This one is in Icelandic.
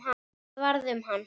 Hvað varð um hann?